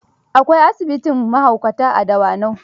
Akwai asibitin mahaukata a Dawanau.